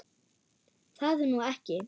Það er nú ekki.